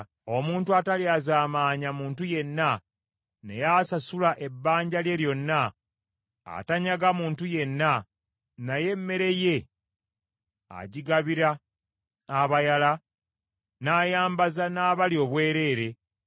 omuntu atalyazaamaanya muntu yenna, naye asasula ebbanja lye lyonna, atanyaga muntu yenna, naye emmere ye agigabira abayala, n’ayambaza n’abali obwereere;